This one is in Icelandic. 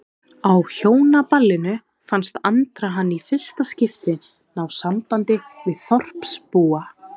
Á Hjónaballinu fannst Andra hann í fyrsta skipti ná sambandi við þorpsbúa.